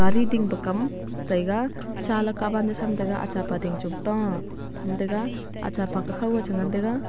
ding pa kam che taiga cha laka pa ni tham tega acha pa ding chong ta tham tega acha pa kukhaq ga che ngai tega.